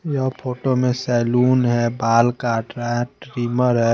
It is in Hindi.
यह फोटो मे सैलून हैं बाल कट रहा हैं ट्रेमर ह--